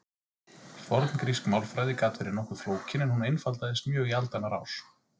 Forngrísk málfræði gat verið nokkuð flókin en hún einfaldaðist mjög í aldanna rás.